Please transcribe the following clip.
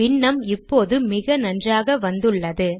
பின்னம் இப்போது மிக நன்றாக வந்துள்ளது